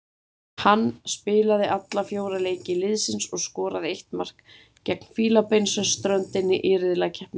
Hann spilaði alla fjóra leiki liðsins og skoraði eitt mark gegn Fílabeinsströndinni í riðlakeppninni.